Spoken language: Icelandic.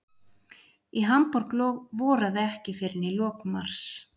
Í Hamborg voraði ekki fyrr en í lok mars.